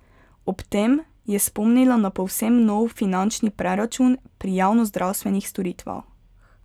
Ob tem je spomnila na povsem nov finančni preračun pri javnozdravstvenih storitvah.